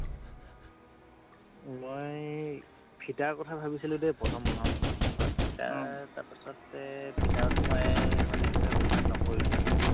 মই ফিতাৰ কথা ভাবিছিলো দেই প্ৰথম প্ৰথম তাৰ পা ফিতাৰ তাৰ পাছতে ফিতাৰতও মই মানে কি হয় online নকৰিলো মই